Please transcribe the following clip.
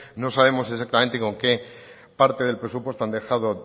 no sabemos exactamente con qué parte del presupuesto han dejado